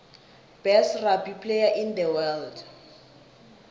best rugby player in the world